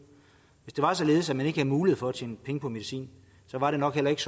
hvis det var således at man ikke havde mulighed for at tjene penge på medicin var der nok heller ikke